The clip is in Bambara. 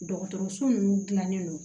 Dɔgɔtɔrɔso ninnu dilannen don